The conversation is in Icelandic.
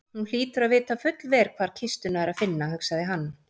Hún hlýtur að vita fullvel hvar kistuna er að finna, hugsaði hann.